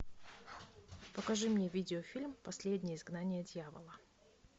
покажи мне видеофильм последнее изгнание дьявола